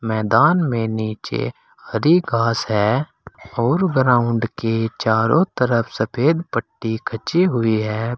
मैदान में नीचे हरी घास है और ग्राउंड के चारों तरफ सफेद पट्टी खिंची हुई है।